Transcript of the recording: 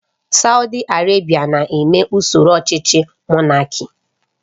Saudi Arabia na-eme usoro ọchịchị Monáki